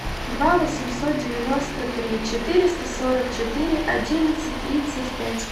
два восемьсот девяносто три четыреста сорок четыре одиннадцать тридцать пять